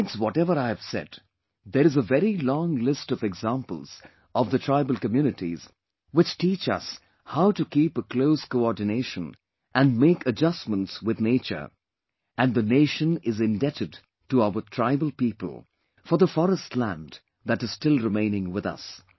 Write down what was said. Besides whatever I have said, there is a very long list of examples of the tribal communities which teach us how to keep a close coordination and make adjustments with the nature and the nation is indebted to our tribal people for the forest land that is still remaining with us